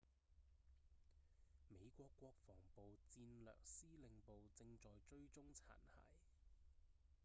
美國國防部戰略司令部正在追蹤殘骸